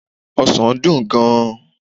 osan dùn gan-an